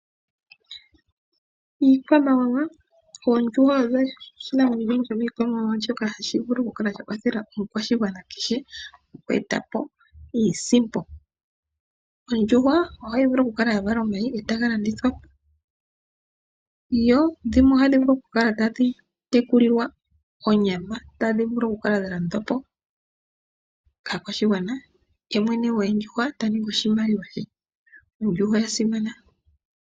Iikwamawawa Oondjuhwa odho iinamwenyo shomiikwamawawa shoka hashi vulu okukwathela omukwashigwana kehe oku eta po iisimpo. Ondjuhwa ohayi vulu okukala ya vala omayi e taga landithwa po. Ohayi vulu okutekulilwa onyama tadhi vulu okukala dha landwa po kaakwashigwana ye mwene goondjuhwa ta ningi oshimaliwa she. Oondjuhwa odha simana.